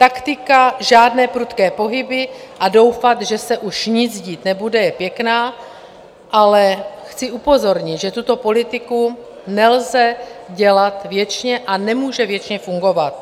Taktika žádné prudké pohyby a doufat, že se už nic dít nebude, je pěkná, ale chci upozornit, že tuto politiku nelze dělat věčně a nemůže věčně fungovat.